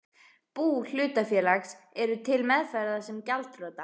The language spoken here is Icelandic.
bú hlutafélags, eru til meðferðar sem gjaldþrota.